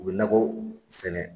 U bɛ nakɔ sɛnɛ